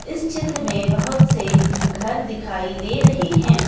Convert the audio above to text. इस चित्र में बहुत से घर दिखाई दे रहे हैं।